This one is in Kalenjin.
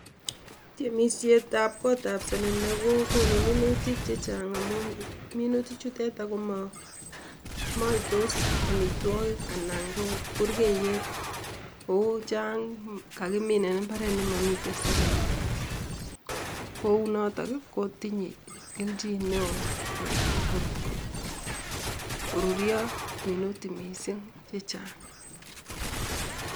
timisietab kootab selele kokonu minutik che chang amu minutichu teta ko mo maitos amitwogik anan ko burkeiet kou chang kakiminen mbaret ne mamiten selele kounotok kotinyei kelchin neoo korurio minutik mising che chang.